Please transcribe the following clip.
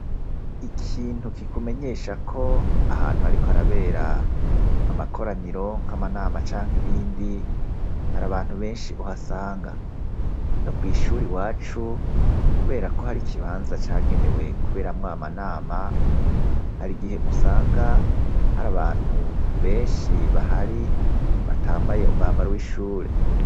Ikintu kikumenyesha ko ahantu, ariko arabera amakoranyiro nk'amanama canke ibindi hari abantu benshi uhasanga no kw'ishura i wacu, kubera ko hari ikibanza cagenewe kuberamwo amanama hari igihe gusanga hari abantu benshi sibahari batambaye umwambaro w'ishure.